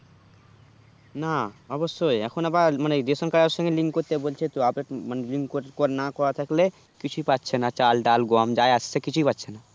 না অবশ্যই এখন আবার মানে ration card এর সঙ্গে link করতে বলছে তো মানে link না করা থাকলে কিছুই পাচ্ছে না চাল ডাল গম যাই আসছে কিছুই পাচ্ছে না